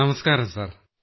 നമസ്ക്കാരം സാർ